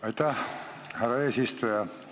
Aitäh, härra eesistuja!